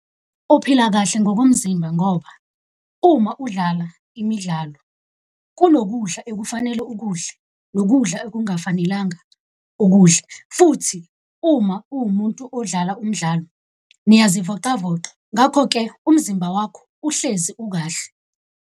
Uphila kahle ngokomzimba ngoba uma udlala imidlalo kunokudla ekufanele ukudle, nokudla ekungafanelanga ukudle. Futhi uma uwumuntu odlala umdlalo, niyazivoqavoqa ngakho-ke umzimba wakho uhlezi ukahle.